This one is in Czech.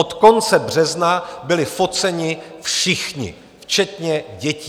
Od konce března byli foceni všichni, včetně dětí.